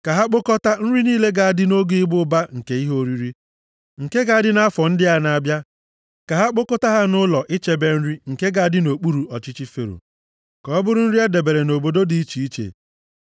Ka ha kpokọtaa nri niile ga-adị nʼoge ịba ụba nke ihe oriri, nke ga-adị nʼafọ ndị a na-abịa. Ka ha kpokọta ha nʼụlọ ichebe nri nke ga-adị nʼokpuru ọchịchị Fero. Ka ọ bụrụ nri e debere nʼobodo dị iche iche.